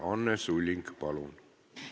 Anne Sulling, palun!